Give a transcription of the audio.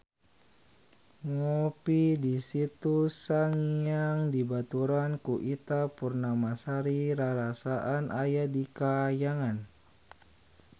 Ngopi di Situ Sangiang dibaturan ku Ita Purnamasari rarasaan aya di kahyangan